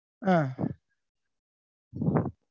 ஆஹ்